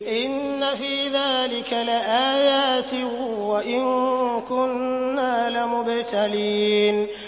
إِنَّ فِي ذَٰلِكَ لَآيَاتٍ وَإِن كُنَّا لَمُبْتَلِينَ